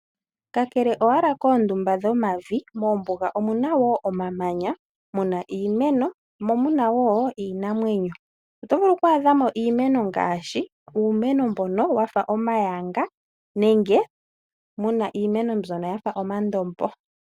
Kakele owala koondumba dhomavi, mombuga omuna wo omamanya, iimeno, mo omuna wo iinamwenyo. Oto vulu oku adhamo iimeno ngaashi, uumeno mbono wafa omayanga nenge muna iimeno mbyono yafa omandombo.